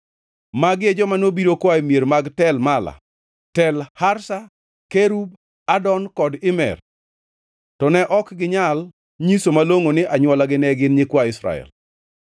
Magi e joma nobiro koa e mier mag Tel Mela, Tel Harsha, Kerub, Adon, kod Imer, to ne ok ginyal nyiso malongʼo ni anywolagi ne gin nyikwa Israel.